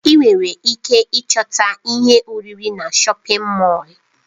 Enwere ike ịchọta ihe oriri na shọpin Mọll.